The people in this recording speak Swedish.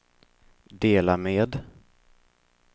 dela med